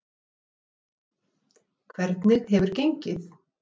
Lillý Valgerður: Hvernig hefur gengið?